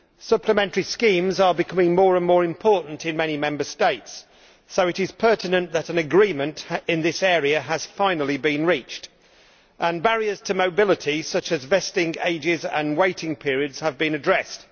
Supplementary schemes are becoming more and more important in many Member States, so it is pertinent that an agreement in this area has finally been reached and that barriers to mobility, such as vesting and waiting periods, have been addressed.